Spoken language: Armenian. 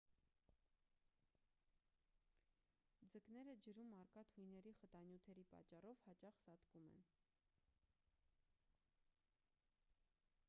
ձկները ջրում առկա թույների խտանյութերի պատճառով հաճախ սատկում են